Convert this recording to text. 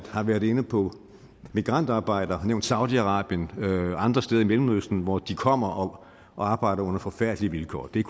har været inde på migrantarbejdere og har nævnt saudi arabien og andre steder i mellemøsten hvor de kommer og arbejder under forfærdelige vilkår og det er